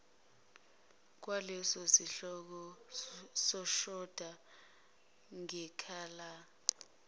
kwalesosihloko oshoda ngesikhala